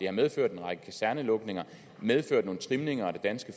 har medført en række kasernelukninger medført nogle trimninger af det danske